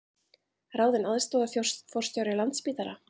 Ráðinn aðstoðarforstjóri Landspítala